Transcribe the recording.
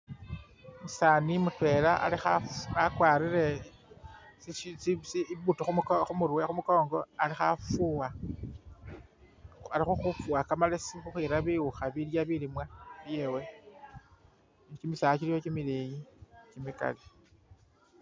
Umusaani mutwela ali kha.. wakwalire tsi shi I'boot khumurwe khumukongo ali khafuwa ali khafuwa kamalesi khukhwira biwukha bilya bilimwa byewe, kimisaala kiliwo kimileyi kimikali